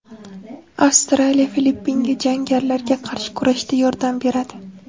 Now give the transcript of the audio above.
Avstraliya Filippinga jangarilarga qarshi kurashda yordam beradi.